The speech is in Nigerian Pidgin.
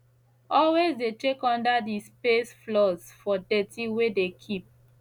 always de check under de space floors for dirty wey de keep